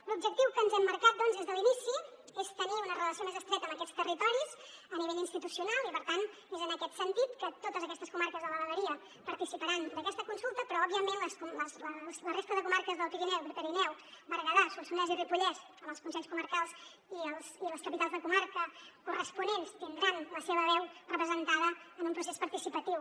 l’objectiu que ens hem marcat doncs des de l’inici és tenir una relació més estreta amb aquests territoris a nivell institucional i per tant és en aquest sentit que totes aquestes comarques de la vegueria participaran d’aquesta consulta però òbviament la resta de comarques del pirineu prepirineu berguedà solsonès i ripollès amb els consells comarcals i les capitals de comarca corresponents tindran la seva veu representada en un procés participatiu